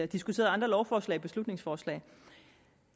diskuteret andre lovforslag og beslutningsforslag